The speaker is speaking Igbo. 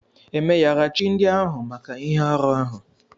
E meyara chi ndị ahụ maka ihe arụ ahụ?